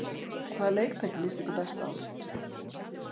Elín: Hvaða leiktæki líst ykkur best á?